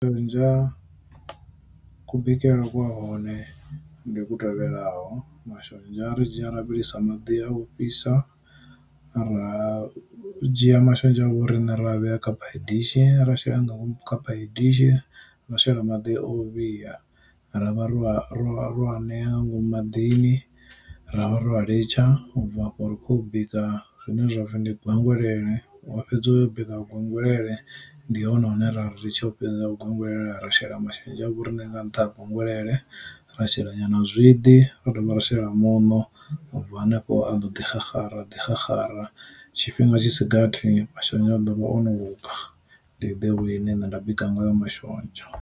Shonzha ku bikele kwa hone ndi ku tevhelaho, mashonzha ri dzhia ra vhilisa maḓi a u fhisa, ra dzhia mashonzha a vho rine ra vhea kha phayi dishi ra shela nga ngomu kha phayi dishi ra shela maḓi o vhiya, ra vha ro a ro a ro aneya nga ngomu maḓini, ra vha ro vha litsha u bva hafho ri khou bika zwine zwapfhi ndi gwengwelele. Wa fhedza uyo bika gwengwelele ndi hone hone ra ri ri tsho u fhedza gwengwelele ra shela mashonzha avho rine nga ntha ha gwengwelele, ra shela nyana zwiḓi ra dovha ra shela muṋo ubva hanefho a ḓo ḓi xaxara a ḓi xaxara tshifhinga tshi sigathi mashonzha a ḓovha ono luga, ndi ḓe way nne nda bika nga yo mashonzha.